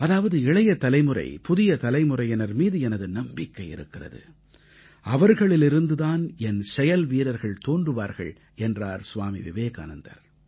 அதாவது இளையதலைமுறை புதிய தலைமுறையினர் மீது எனது நம்பிக்கை இருக்கிறது அவர்களிலிருந்து தான் என் செயல்வீரர்கள் தோன்றுவார்கள் என்றார் ஸ்வாமி விவேகானந்தர்